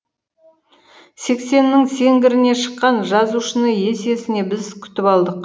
сексеннің сеңгіріне шыққан жазушыны есесіне біз күтіп алдық